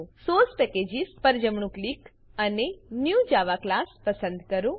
source packages પર જમણું click અને ન્યૂ જાવા ક્લાસ પસંદ કરો